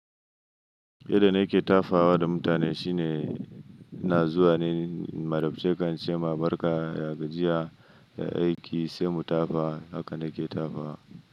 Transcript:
Yadda na ke tafawa da mutane shine na zuwa ne, na tafi ce kansa, ma barka, ya gajiya, ya aiki, sai mu tafi. Haka na ke tafawa.